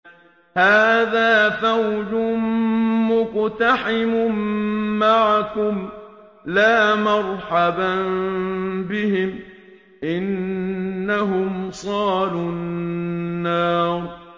هَٰذَا فَوْجٌ مُّقْتَحِمٌ مَّعَكُمْ ۖ لَا مَرْحَبًا بِهِمْ ۚ إِنَّهُمْ صَالُو النَّارِ